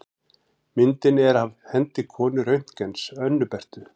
Myndin er af hendi konu Röntgens, Önnu Berthu.